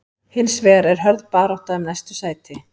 Hins vegar er hörð barátta um næstu sæti.